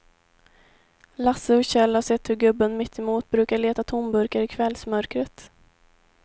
Lasse och Kjell har sett hur gubben mittemot brukar leta tomburkar i kvällsmörkret.